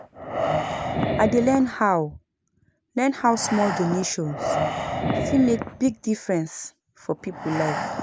I dey learn how learn how small donations fit make big difference for people life.